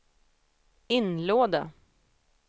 inlåda